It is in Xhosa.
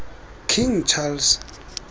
king charles